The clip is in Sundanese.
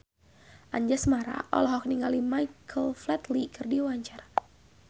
Anjasmara olohok ningali Michael Flatley keur diwawancara